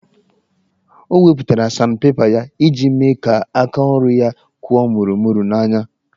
Ọ wepụtara sandpepa ya iji mee kaa aka ọrụ ya kwụọ mụrụ mụru n'anya